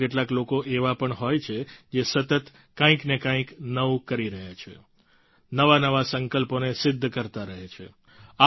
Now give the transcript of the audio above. પરંતુ કેટલાક લોકો એવા પણ હોય છે જે સતત કંઈકને કંઈક નવું કરી રહ્યા છે નવાનવા સંકલ્પોને સિદ્ધ કરતા રહે છે